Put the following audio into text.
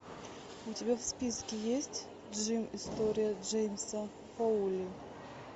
у тебя в списке есть джим история джеймса фоули